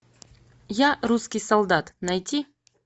я русский солдат найти